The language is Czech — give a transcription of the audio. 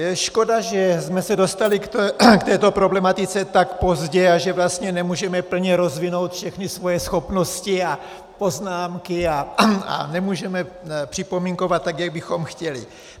Je škoda, že jsme se dostali k této problematice tak pozdě a že vlastně nemůžeme plně rozvinout všechny svoje schopnosti a poznámky a nemůžeme připomínkovat tak, jak bychom chtěli.